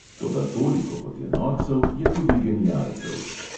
Toda toliko kot je norcev, je tudi genialcev.